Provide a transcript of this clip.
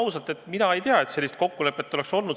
Ütlen ausalt, et mina ei tea, et selline kokkulepe on.